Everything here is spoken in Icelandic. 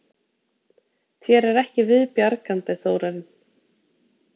Þér er ekki viðbjargandi, Þórarinn.